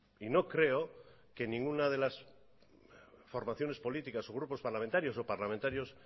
y no creo que ninguna de las formaciones políticas o grupos parlamentarios o parlamentarios